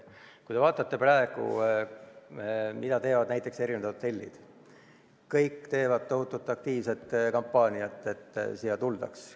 Kui te vaatate, mida teevad praegu näiteks hotellid – kõik teevad tohutut aktiivset kampaaniat, et siia tuldaks.